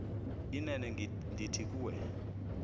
inene ndithi kuwe